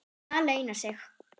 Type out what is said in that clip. Það launar sig.